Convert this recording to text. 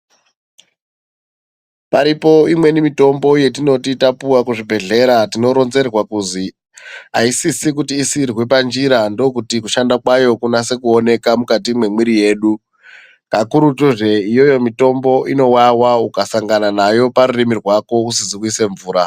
Paripo imweni mitombo yetinoti tapuva kuzvibhedhlera tinoronzerwa kuzi haisisi kuti isirwe panjira ndokuti kushanda kwayo kunase kuoneka mukati mwemwiri yedu. Kakurutuzve iyoyo mitombo inovava ukasangana nayo parurimi rwako usizi kuise mvura.